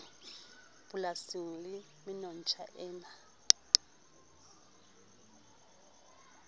polasing le menontsha e na